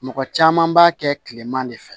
Mɔgɔ caman b'a kɛ kilema de fɛ